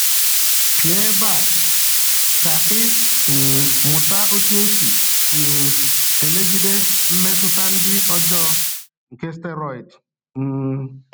Pịa ebe a ka ị um mụta otu esi um emegide mmetụta ndị ọjọọ nke steiroịdu. um